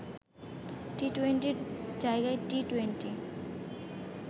টি-টোয়েন্টির জায়গায় টি-টোয়েন্টি